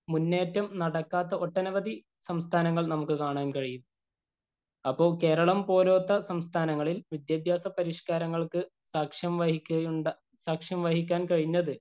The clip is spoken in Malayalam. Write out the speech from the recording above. മുന്നേറ്റം നടക്കാത്ത ഒട്ടനവധി സംസ്ഥാനങ്ങള്‍ നമുക്ക് കാണാന്‍ കഴിയും. അപ്പം കേരളം പോലൊത്ത സംസ്ഥാനങ്ങളില്‍ വിദ്യാഭ്യാസ പരിഷ്കാരങ്ങള്‍ക്ക് സാക്ഷ്യം വഹിക്കുകയുണ്ടാ - സാക്ഷ്യം വഹിക്കാന്‍ കഴിഞ്ഞത്.